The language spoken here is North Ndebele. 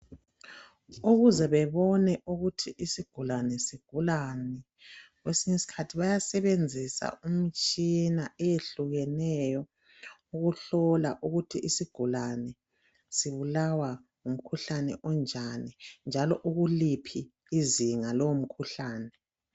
Ukuze bebone ukuthi isigulane sigulani kwesinye isikhathi bayasebenzisa imitshina eyehlukeneyo ukuhlola ukuthi isigulane sibulawa ngumkhuhlane onjani, njalo ukuliphi izinga lowo umkhuhlane.